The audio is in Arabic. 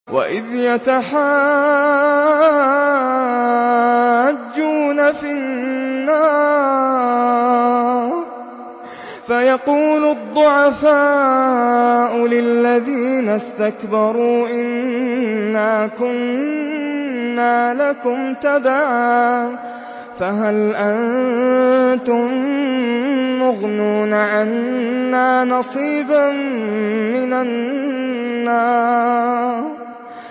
وَإِذْ يَتَحَاجُّونَ فِي النَّارِ فَيَقُولُ الضُّعَفَاءُ لِلَّذِينَ اسْتَكْبَرُوا إِنَّا كُنَّا لَكُمْ تَبَعًا فَهَلْ أَنتُم مُّغْنُونَ عَنَّا نَصِيبًا مِّنَ النَّارِ